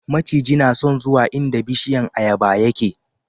maciji na son zuwa inda bishiyan ayaba yake